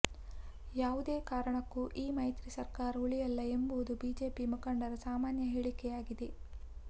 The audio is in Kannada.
ಯಾವುದೇ ಕಾರಣಕ್ಕೂ ಈ ಮೈತ್ರಿ ಸರ್ಕಾರ ಉಳಿಯಲ್ಲ ಎಂಬುದು ಬಿಜೆಪಿ ಮುಖಂಡರ ಸಾಮಾನ್ಯ ಹೇಳಿಕೆಯಾಗಿ್ದೆದೆ